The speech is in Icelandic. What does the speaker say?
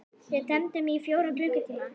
Við tefldum í fjóra klukkutíma!